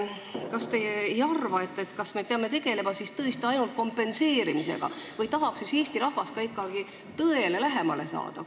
Kas me peame siis tegelema tõesti ainult kompenseerimisega või tahab Eesti rahvas ka ikkagi tõele lähemale saada?